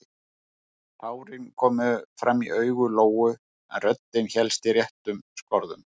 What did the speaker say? Tárin komu fram í augu Lóu en röddin hélst í réttum skorðum.